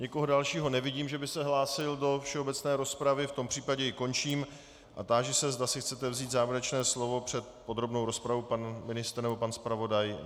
Nikoho dalšího nevidím, že by se hlásil do všeobecné rozpravy, v tom případě ji končím a táži se, zda si chcete vzít závěrečné slovo před podrobnou rozpravou - pan ministr nebo pan zpravodaj.